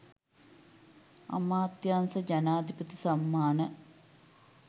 අමාත්‍යාංශ ජනාධිපති සම්මාන